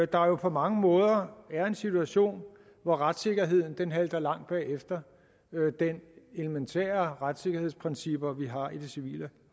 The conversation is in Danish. der på mange måder den situation at retssikkerheden halter langt bagefter de elementære retssikkerhedsprincipper vi har i det civile